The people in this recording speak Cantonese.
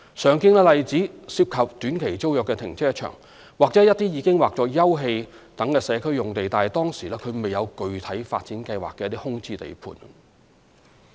常見的例子涉及短期租約停車場，或一些已劃作休憩等社區用地但當時未有具體發展計劃的空置地盤。